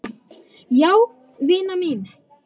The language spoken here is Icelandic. Jæja vina mín.